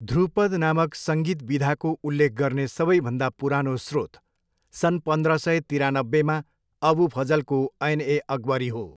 ध्रुपद नामक सङ्गीत विधाको उल्लेख गर्ने सबैभन्दा पुरानो स्रोत सन् पन्द्र सय तिरानब्बेमा अबु फजलको ऐन ए अकबरी हो।